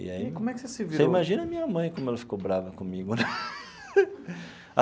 E aí. Como é que você se virou? Você imagina a minha mãe, como ela ficou brava comigo, né?